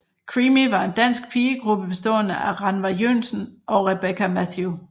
Creamy var en dansk pigegruppe bestående af Rannva Joensen og Rebekka Mathew